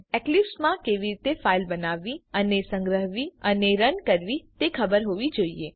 અને તમને એક્લિપ્સ માં કેવી રીતે ફાઈલ બનાવવી સંગ્રહવી અને રન કરવી તે ખબર હોવી જોઈએ